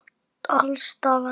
Það var reykt alls staðar.